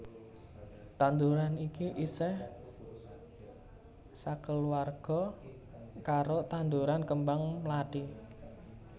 Tanduran iki isih sakeluwarga karo tanduran kembang mlathi